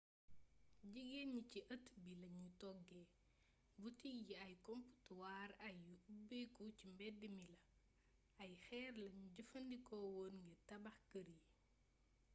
jigéeen ñi ci ëttt bi lañuy toggee butik yi ay komptuwaar yu ubbeeku ci mbedd mi la ay xeer lanu jëfandikoowoon ngir tabax kër yi